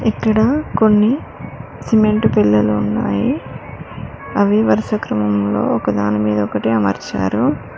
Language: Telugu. ఇక్కడ కొన్ని సిమెంట్ బిల్లలు ఉన్నాయి అవి వరుస క్రమంలో ఒక దాని మీద ఒకట్టి అమర్చారు.